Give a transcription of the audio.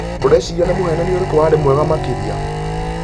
ũrecirĩa nĩmũhenania ũrĩkũ warĩmwega makĩria